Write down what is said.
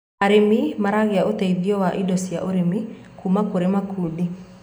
arĩmi maragia uteithio wa indo cia ũrĩmi kuma kũri makundi